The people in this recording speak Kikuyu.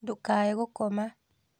Ndũkaae gũkoma